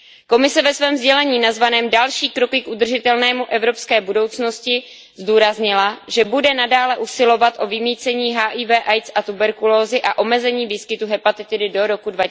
Komise ve svém sdělení nazvaném Další kroky k udržitelné evropské budoucnosti zdůraznila, že bude nadále usilovat o vymýcení HIV AIDS a tuberkulózy a omezení výskytu hepatitidy do roku